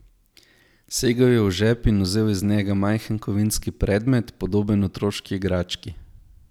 Segel je v žep in vzel iz njega majhen kovinski predmet, podoben otroški igrački.